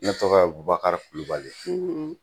Ne tɔgɔ Bubakari kulubali